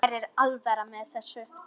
Mér er alvara með þessu.